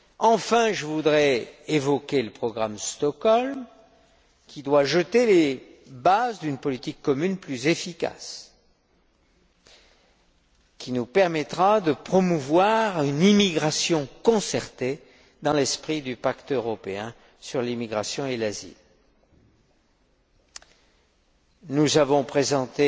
Enfin, je voudrais évoquer le programme de Stockholm, qui doit jeter les bases d'une politique commune plus efficace, qui nous permettra de promouvoir l'immigration concertée dans l'esprit du pacte européen sur l'immigration et l'asile. Nous avons présenté